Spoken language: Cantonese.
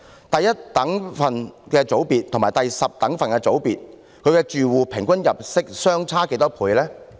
第一等分組別和第十等分組別住戶的平均入息是相差多少倍呢？